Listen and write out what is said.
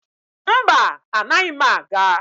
Mba, anaghị m aga.